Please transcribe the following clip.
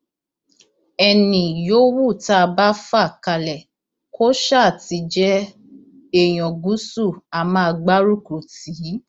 ẹnì yòówù tá a bá fà kalẹ kó ṣáà ti jẹ èèyàn gúúsù á máa gbárùkù tì í